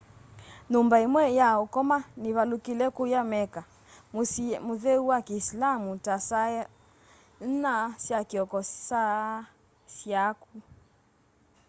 nyumba imwe ya ukoma nivalukile kuuya mecca musyi mutheu wa kiisilaamu ta saa inya sya kioko saa syaku